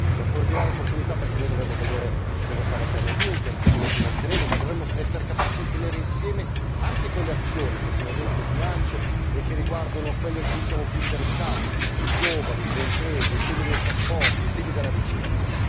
una straordinaria opportunità perché noi dovremo vedere cosa sarà il piano Juncker, come lo finanzieremo, ma dovremo essere capaci di tenere insieme anche quelle azioni che sono dentro il bilancio e che riguardano ciò a cui siamo più interessati i giovani, le imprese, i trasporti e la ricerca.